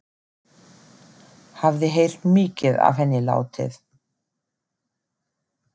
Hafði heyrt mikið af henni látið.